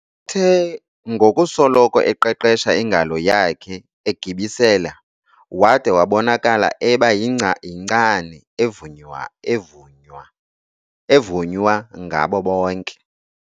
Uthe ngokusoloko eqeqesha ingalo yakhe egibisela wada wabonakala eba yinkcani evunywa ngabo bonke.